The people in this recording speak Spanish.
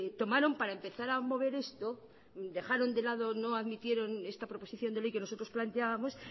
tomaron para empezar a mover esto no admitieron esta preposición de ley que nosotros planteábamos